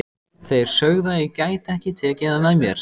Þeir sögðu að ég gæti ekki tekið það með mér.